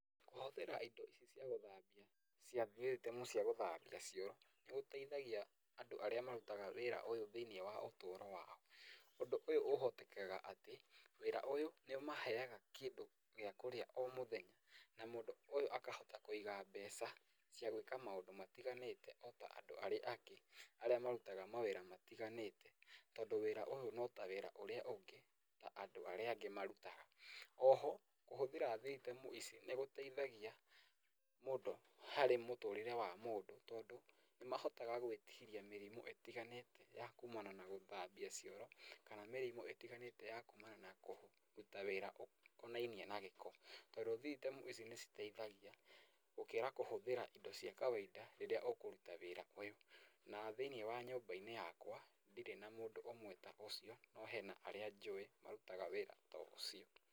Kũhũthĩra ĩndo ici cia gũthambia cia gũthambia cioro nĩ gũteithagia andũ arĩa marutaga wĩra ũyũ thĩiniĩ wa ũtũro wao. Ũndũ ũyũ ũhotekaga atĩ wĩra ũyũ nĩ ũmaheyaga kĩndũ gĩa kũrĩa o mũthenya ũyũ akahota kũĩga mbeca cia gwĩka maũndũ matĩganĩte ota andũ arĩa angĩ marutaga mawĩra matĩganĩte tondũ wĩra ũyũ no ta wĩra ũrĩa ũngĩ na andũ arĩa angĩ marutaga. Oho kũhũthĩra nĩ gũteithagia harĩ mũtũrĩre wa mũndũ tondũ nĩ mahotaga gwĩtĩrĩa mĩrimũ ĩtiganĩte ĩrĩa ya kumanaga na gũthambia cioro kana mĩrimũ ĩtiganĩte ya kumana na kũruta wĩra ũcio ũkonainie na gĩko tondũ vitemu ici nĩ ĩteithagia gũkĩra kũhũthĩra ĩndo cia kawaida rĩrĩa ũkũruta wĩra ũyũ na thĩiniĩ wa nyũmba-inĩ yakwa ndirĩ na mũndũ ũmwe ũrutaga wĩra ũcio no hena arĩa njũĩ marutaga wĩra ta ũcio.